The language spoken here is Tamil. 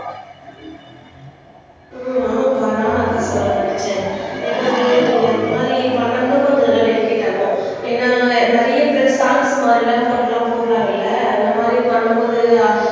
உம் ம் ஆமாப்பா நானும் அதான் சொல்லலாம்ன்னு நினைச்சேன் ஏன்னா வந்து நீங்க அந்த மாதிரி பண்ணணும்னா கொஞ்சம் இதெல்லாம் டெடிகேட் ஆகும் ஏன்னா நிறைய பேர் சாங்ஸ் மாதிரி எல்லாம் போட்டு எல்லாம் போடுறாங்கல்ல அந்த மாதிரி பண்ணும் போது